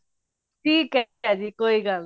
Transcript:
ਠੀਕ ਹੈ ਜੀ ਕੋਈ ਗੱਲ ਨਹੀਂ